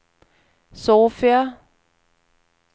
Sofia